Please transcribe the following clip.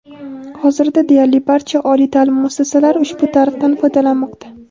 Hozirda deyarli barcha oliy ta’lim muassasalari ushbu tarifdan foydalanmoqda.